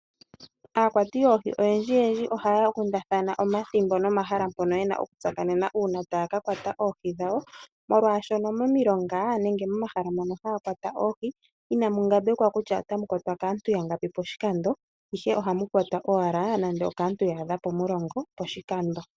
Aakwati yoohi oyendjiyendji ohaya kundathana omathimbo nomahala mpono ye na okutsakanena uuna taya ka kwata oohi dhawo molwaashono momilonga nenge momahala mono haya kwata oohi inamu ngambekwa kutya otamu kwatwa ngapi poshikando, ihe ohamu kwatwa owala nando okaantu ya adha pomulongo poshikando